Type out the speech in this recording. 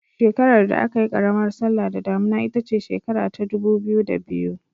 Shekarar da aka yi karamar sallah da damuna ita ce shekara ta 2002.